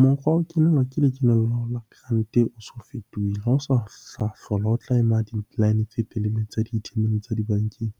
Mokgwa wa ho kenelwa ke la grant-e o so fetohile. Ha o sa hlola o tla ema di-line tse telele tsa di tsa dibankeng.